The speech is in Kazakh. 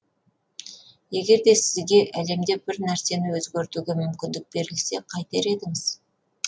егер де сізге әлемде бір нәрсені өзгертуге мүмкіндік берілсе қайтер едіңіз